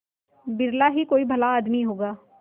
बिरला ही कोई भला आदमी होगा